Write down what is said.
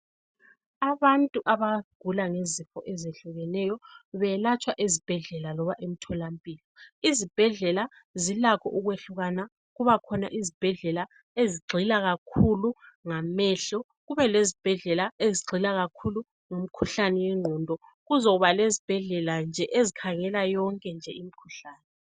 Abantu abagula ngezifo ezehlukeneyo belatshwa ezibhedlela loba emtholampilo. Izibhedlela zilakho ukwehlukana. Kukhona ezigxila kakhulu ngamehlo, kubekhona ezomkhuhlane wengqondo lezinye nje ezikhangela yonke imikhuhlane.